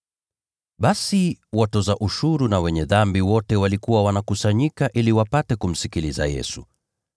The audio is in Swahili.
Basi watoza ushuru na wenye dhambi wote walikuwa wanakusanyika ili wapate kumsikiliza Yesu.